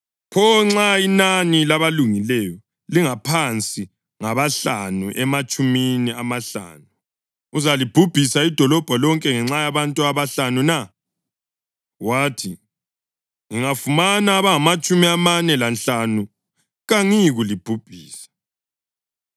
pho nxa inani labalungileyo lingaphansi ngabahlanu ematshumini amahlanu? Uzalibhubhisa idolobho lonke ngenxa yabantu abahlanu na?” Wathi, “Ngingafumana abangamatshumi amane lanhlanu kangiyikulibhubhisa.”